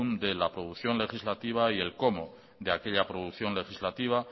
de la producción legislativa y el cómo de aquella producción legislativa